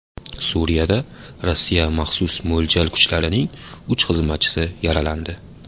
Suriyada Rossiya maxsus mo‘ljal kuchlarining uch xizmatchisi yaralandi.